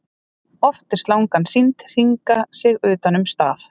oft er slangan sýnd hringa sig utan um staf